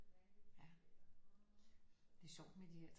Ja det er sjovt med de der